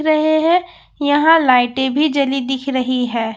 रहे हैं यहां लाइटे भी जंली दिख रही हैं।